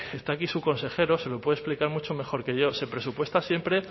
está aquí su consejero se lo puede explicar mucho mejor que yo se presupuesta siempre